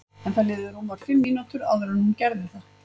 En það liðu rúmar fimm mínútur áður en hún gerði það.